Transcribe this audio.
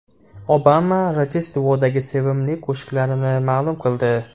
Obama Rojdestvodagi sevimli qo‘shiqlarini ma’lum qildi.